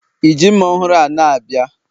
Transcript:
i ji mma ọhụrụ a na-abịa?